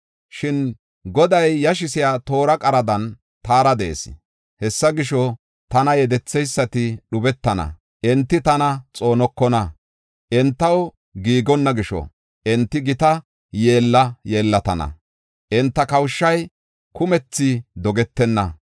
Shin Goday yashisiya toora qaradan taara de7ees. Hessa gisho, tana yedetheysati dhubetana; enti tana xoonokona. Entaw giigonna gisho, enti gita yeella yeellatana. Enta kawushay kumthi dogetenna.